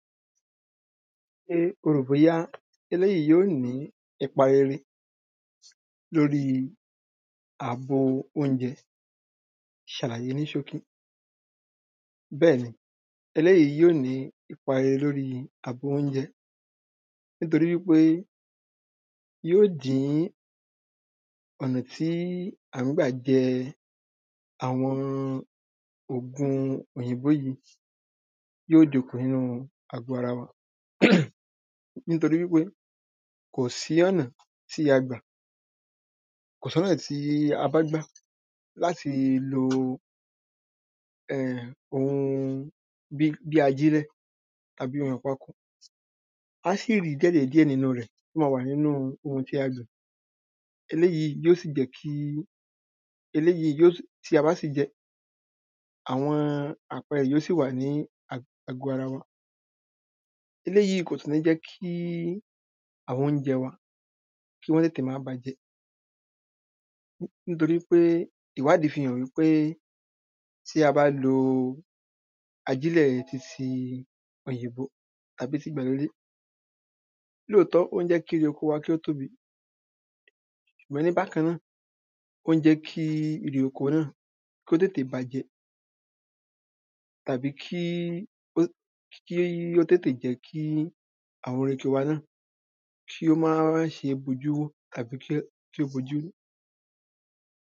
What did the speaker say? pé o rò bóyá eléyìí yóò ní ipa rere lóri àbo oúnjẹ, ṣàlàyé ní ṣókí bẹ́ẹ̀ni, eléyìí yóò ní ipa rere lóri àbò oúnjẹ. nítorí wípé yóò dín-ín ọ̀nà tí à ń gbà jẹ́ àwọn ògun oyìnbó yìí yí ò dín-ín kùn ní àgọ́ ara wa. nítorí wípé kò sí ọ̀nà tí a gba, kò sọ́nà tí a bá gbà láti lo ẹ̀m ohun bi bí ajírẹ́ tàbí ohun ìpako, aá ṣì rí díẹ̀dẹ̀díẹ̀ nínú rẹ̀ tó máa wà nínú ohun tí a gbìn. eléyìi yóò sì jẹ́ kí, eléyìí yóò sì tí a bá sì jẹ́ àwọn àpẹrẹ rẹ̀ yíò sì wà ní àgọ́ ara wa eléyìí kò sí ní jẹ́ kí àwọn oúnjẹ wa kọ́n tètè máa bàjẹ́. nítorí pé ìwádíí fi hàn í pé tí a bá lo ajílẹ̀ yẹn titi oyìnbó tàbí ti ìgbàlódé lóòtọ́, ó ń jẹ́ kí oko wa kí ó tóbi, wẹ̀ẹ́l ní bákanà, ó ń jẹ́ kí èrè náà kó tétè bàjẹ́ tàbí kí ó, kí ó tétè jẹ́ kí àwọn èrè ok wa náà kí ó má ṣe bojúwò tàbí kí ó kí ó bojú rú.